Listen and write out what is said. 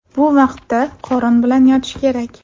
Bu vaqtda qorin bilan yotish kerak.